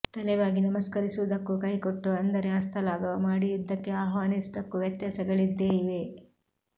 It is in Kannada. ತಲೆ ಬಾಗಿ ನಮಸ್ಕರಿಸುವುದಕ್ಕೂ ಕೈಕೊಟ್ಟು ಅಂದರೆ ಹಸ್ತ ಲಾಘವ ಮಾಡಿ ಯುದ್ಧಕ್ಕೆ ಆಹ್ವಾನಿಸುವುದಕ್ಕೂ ವ್ಯತ್ಯಾಸಗಳಿದ್ದೇ ಇವೆ